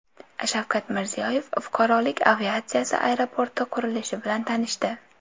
Shavkat Mirziyoyev fuqarolik aviatsiyasi aeroporti qurilishi bilan tanishdi.